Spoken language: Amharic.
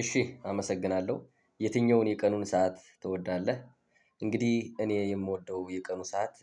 እሺ አመሰግናለሁ የትኛውን የቀኑን ሰዓት ትወዳለህ? እንግዲህ እኔ የምወደው የቀኑ ሰዓት።